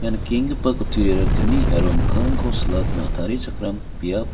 ia nikenggipa kutturiara kni aro mikkangrangko silatna tarichakram biap--